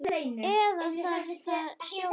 Eða var það Sjóni?